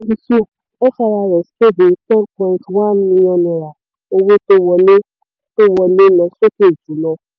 kéde ten point one million naira owó tó wọlé tó lọ sókè jù lọ.